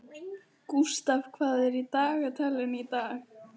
Gústaf, hvað er í dagatalinu í dag?